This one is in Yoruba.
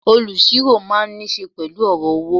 Olusiro máa ń nise pẹ̀lú ọ̀rọ̀ owó.